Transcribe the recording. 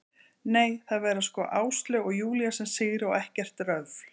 Nei, það verða sko Áslaug og Júlía sem sigra og ekkert röfl.